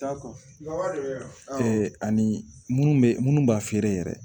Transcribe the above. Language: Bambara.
ani munnu bɛ munnu b'a feere yɛrɛ